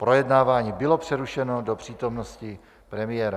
Projednávání bylo přerušeno do přítomnosti premiéra.